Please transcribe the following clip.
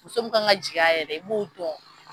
Muso min kan ka jigi a yɛrɛ i b'o dɔn.